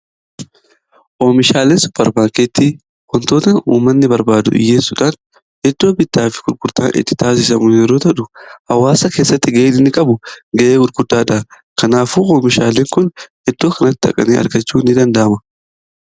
oomishaalen suparmaakeettii wontoota umanni barbaadu dhiyyeessuudhaan iddoo bitaa fi gurgurtaan itti taasisamuu yeroo ta'u hawaasa keessatti ga'een qabu ga'ee gurguddaadha kanaafu oomishaalen kun iddoo kanati dhaqanii argachuu ni dandaama